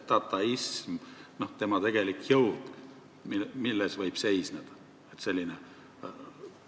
Milles selle dataismi tegelik jõud võib seisneda, et selline asi võimalik on?